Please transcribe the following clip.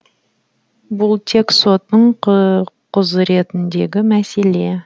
бұл тек соттың құзыретіндегі мәселе